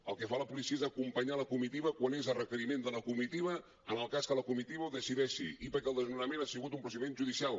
el que fa la policia és acompanyar la comitiva quan és a requeriment de la comitiva en el cas que la comitiva ho decideixi i perquè el desnonament ha sigut un procediment judicial